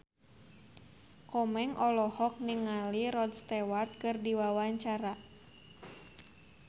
Komeng olohok ningali Rod Stewart keur diwawancara